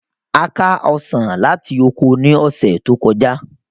A ká Ọsàn láti oko ní ọ̀sẹ̀ tó kọjá